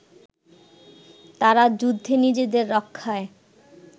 তারা যুদ্ধে নিজেদের রক্ষায়